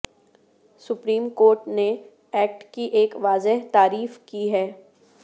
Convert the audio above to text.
supreme court نے act کی ایک واضح تعریف کی ہے